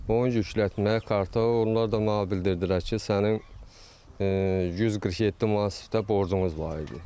Onu yüklətmək karta, onlar da mənə bildirdilər ki, sənin 147 manatda borcunuz var idi.